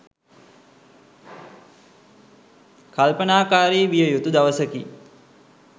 කල්පනාකාරී විය යුතු දවසකි.